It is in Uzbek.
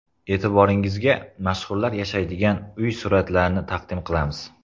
E’tiboringizga mashhurlar yashaydigan uy suratlarini taqdim qilamiz.